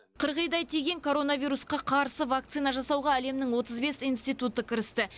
қырғидай тиген коронавирусқа қарсы вакцина жасауға әлемнің отыз бес институты кірісті